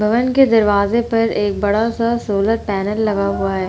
भवन के दरवाजे पर एक बड़ा सा सोलर पैनल लगा हुआ है।